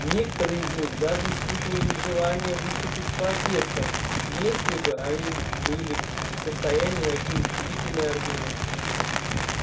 некоторые из них даже испытали желание выступить с протестом если бы они были в состоянии найти убедительные аргументы